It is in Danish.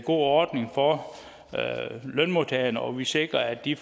ordning for lønmodtagerne og vi sikrer at de